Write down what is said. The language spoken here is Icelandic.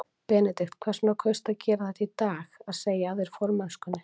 Benedikt, hvers vegna kaustu að gera þetta í dag, að segja af þér formennskunni?